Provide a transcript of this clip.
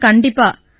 sir கண்டிப்பா